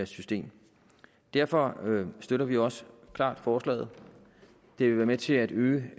system derfor støtter vi også klart forslaget det vil være med til at øge